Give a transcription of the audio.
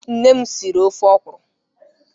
Nne m siri ofe okwụrụ.